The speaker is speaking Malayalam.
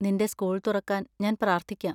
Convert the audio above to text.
നിന്റെ സ്കൂൾ തുറക്കാൻ ഞാൻ പ്രാർത്ഥിക്കാം.